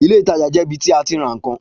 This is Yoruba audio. Ilé ìtajà jẹ ibi ti a ti ra ìkan